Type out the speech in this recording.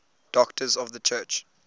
doctors of the church